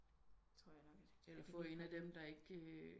Eller få en af dem der